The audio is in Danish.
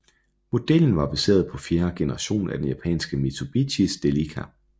Modellen var baseret på fjerde generation af den japanske Mitsubishi Delica